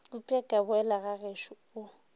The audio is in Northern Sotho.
upša ka boela gagešo o